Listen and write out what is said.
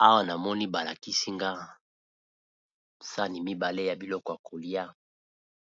Na restaurant ba memeli mutu, sani eza na loso na pondu ya